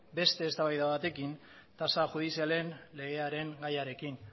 beste eztabaida batekin tasa judizialen legearen gaiarekin